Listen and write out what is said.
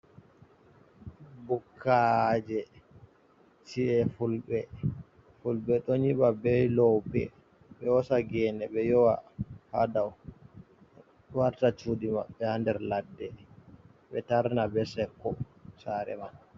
Bukkaji ciyefulbe fulbe do nyiba be lobe, be wasa gene be yowa hado warta cudi mabbe hader ladde man be tarna be sekko sare man.